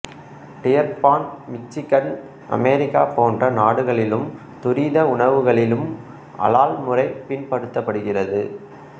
Dearborn Michigan America போன்ற நாடுகளிலும் துரித உணவகங்களிலும் அலால் முறை பின்பற்றப்படுகின்றது